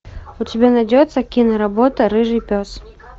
у тебя найдется киноработа рыжий пес